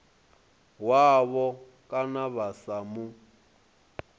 wavho kana vha sa mu